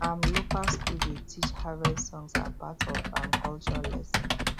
um local school dey teach harvest songs as part of um culture lesson